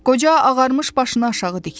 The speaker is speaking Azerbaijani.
Qoca ağarmış başını aşağı dikdi.